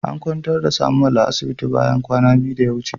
An kwantar da "Samuel" a asibiti kwana biyu da ya wuce.